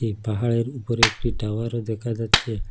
এ পাহাড়ের উপরে একটি টাওয়ার দেখা যাচ্ছে।